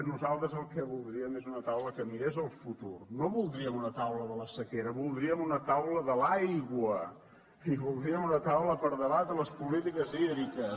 nosaltres el que voldríem és una taula que mirés al futur no voldríem una taula de la sequera voldríem una taula de l’aigua i voldríem una taula per debatre les polítiques hídriques